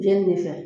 Jenini de fɛ